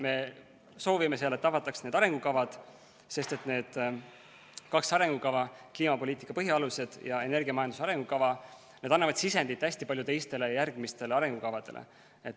Me soovime seal, et avataks need arengukavad, sest need kaks arengukava, kliimapoliitika põhialused ja energiamajanduse arengukava, annavad hästi palju sisendit teistele, järgmistele arengukavadele.